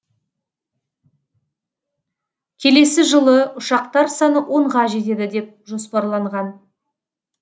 келесі жылы ұшақтар саны онға жетеді деп жоспарланған